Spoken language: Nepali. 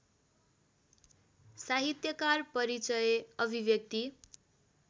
साहित्यकार परिचय अभिव्यक्ति